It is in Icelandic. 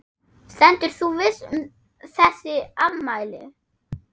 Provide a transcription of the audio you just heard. Stendur þú við þessi ummæli?